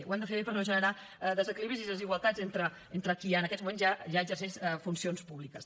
ho hem de fer bé per no generar desequilibris i desigualtats entre qui en aquests moments ja exerceix funcions públiques